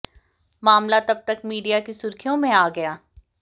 मामला तब तक मीडिया की सुर्खियों में आ गया